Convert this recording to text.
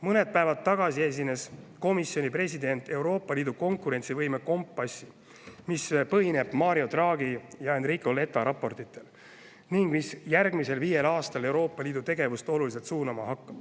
Mõned päevad tagasi komisjoni president Euroopa Liidu konkurentsivõime kompassi, mis põhineb Mario Draghi ja Enrico Letta raportitel ning mis hakkab järgmisel viiel aastal Euroopa Liidu tegevust oluliselt suunama.